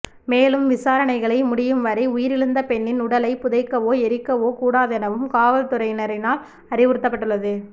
மேலும் விசாரணைகளை முடியும் வரை உயிரிழந்த பெண்ணின் உடலை புதைக்கவோ எரிக்கவோ கூடாதெனவும் காவல்துறையினரினால் அறிவுறுத்தப்பட்டுள்ளது